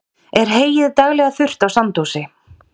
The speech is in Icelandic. er heyið daglega þurrt á sandósi